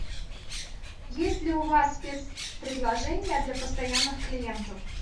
есть ли у вас спецпредложения для постоянных клиентов